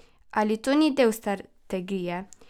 Ali to ni del strategije?